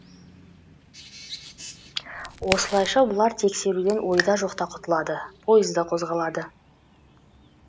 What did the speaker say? осылайша бұлар тексеруден ойда жоқта құтылады пойыз да қозғалады